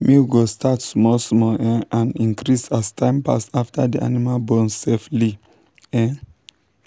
milk go start small small um and increase as time pass after the animal born safely. um